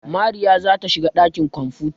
Mariya za ta shiga ɗakin kwamfuta.